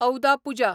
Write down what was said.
औदा पुजा